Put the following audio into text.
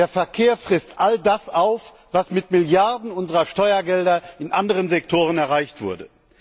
Der Verkehr frisst all das auf, was mit Milliarden unserer Steuergelder in anderen Sektoren erreicht wurde.